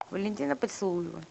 валентина поцелуева